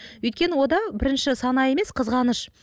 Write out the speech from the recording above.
өйткені онда бірінші сана емес қызғаныш